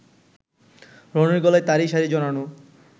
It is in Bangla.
রনির গলায় তারই শাড়ি জড়ানো